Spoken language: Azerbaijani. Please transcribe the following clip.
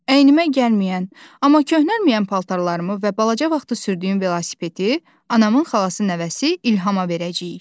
Əynimə gəlməyən, amma köhnəlməyən paltarlarımı və balaca vaxtı sürdüyüm velosipedi anamın xalası nəvəsi İlhamə verəcəyik.